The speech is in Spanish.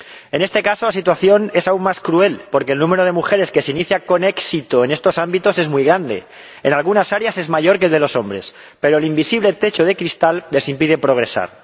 En este caso, la situación es aún más cruel porque el número de mujeres que se inicia con éxito en estos ámbitos es muy grande ―en algunas áreas es mayor que el de los hombres―, pero el invisible techo de cristal les impide progresar.